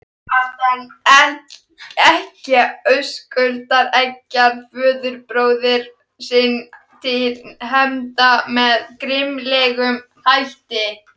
Ekkja Höskuldar eggjar föðurbróður sinn til hefnda með grimmilegum hætti.